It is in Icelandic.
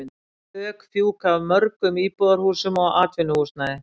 Þök fjúka af mörgum íbúðarhúsum og atvinnuhúsnæði.